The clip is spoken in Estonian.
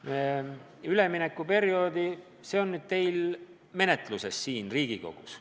Mis puutub üleminekuperioodi, siis see eelnõu on teil siin Riigikogus menetluses.